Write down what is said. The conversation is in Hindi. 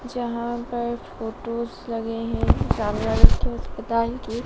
जहां पर फोटोस लगे हैं सामने अस्पताल की--